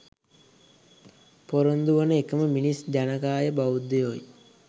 පොරොන්දු වන එකම මිනිස් ජනකාය බෞද්ධයෝයි.